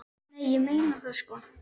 Nei, ég meina það sko.